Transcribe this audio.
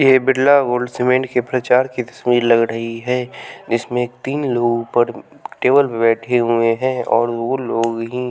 ये Birla gold cement के प्रचार की तस्वीर लग रही है इसमें तीन लोग ऊपर टेबल पे बैठे हुए हैं और वो लोग ही--